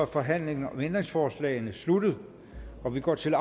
forhandlingen om ændringsforslagene sluttet og vi går til